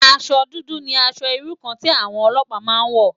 Aṣò dùdù ni ãṣò irú kàn ti áwòn òlòpá má n wò